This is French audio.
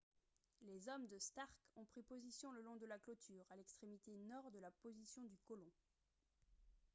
les hommes de stark ont pris position le long de la clôture à l'extrémité nord de la position du colon